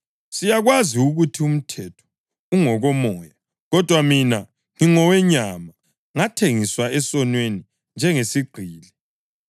Siyakwazi ukuthi umthetho ungokomoya; kodwa mina ngingowenyama, ngathengiswa esonweni njengesigqili.